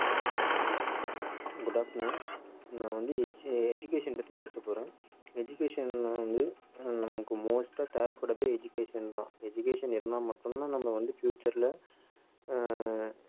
good afternoon நான் வந்து edu~ education பத்தி பேச போறேன் education ல வந்து ஹம் நமக்கு most ஆ தேவைப்படுறது education தான் education இருந்தா மட்டும் தான் நம்ம வந்து future ல ஆஹ்